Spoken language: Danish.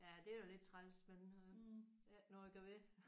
Ja det er jo lidt træls men øh det er der ikke noget at gøre ved